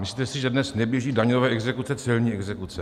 Myslíte si, že dnes neběží daňové exekuce, celní exekuce?